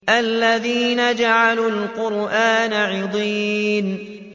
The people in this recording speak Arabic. الَّذِينَ جَعَلُوا الْقُرْآنَ عِضِينَ